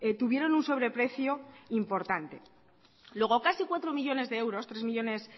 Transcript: tuvieron un sobreprecio importante luego casi cuatro millónes de euros tres millónes